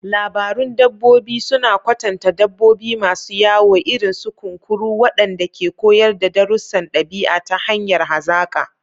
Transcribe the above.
Labarun dabbobi suna kwatanta dabbobi masu wayo, irin su kunkuru, waɗanda ke koyar da darussan ɗabi'a ta hanyar hazaƙa.